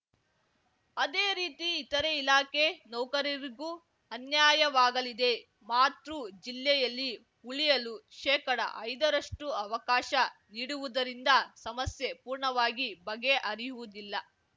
ಅದೇ ರೀತಿ ಇತರೆ ಇಲಾಖೆ ನೌಕರರಿಗೂ ಅನ್ಯಾಯವಾಗಲಿದೆ ಮಾತೃ ಜಿಲ್ಲೆಯಲ್ಲಿ ಉಳಿಯಲು ಶೇಕಡಐದರಷ್ಟುಅವಕಾಶ ನೀಡುವುದರಿಂದ ಸಮಸ್ಯೆ ಪೂರ್ಣವಾಗಿ ಬಗೆಹರಿಯುವುದಿಲ್ಲ